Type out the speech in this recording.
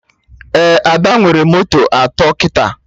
Ee, Ada nwere moto atọ kịta